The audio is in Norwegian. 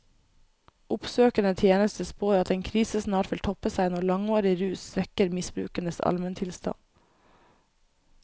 Oppsøkende tjeneste spår at en krise snart vil toppe seg når langvarig rus svekker misbrukernes almentilstand.